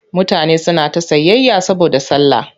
Mutane suna ta sayayya saboda sallah.